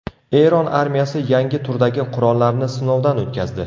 Eron armiyasi yangi turdagi qurollarni sinovdan o‘tkazdi.